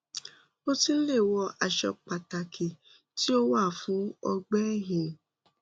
o tun le wọ aṣọ pataki ti o wa fun ọgbẹ ẹhin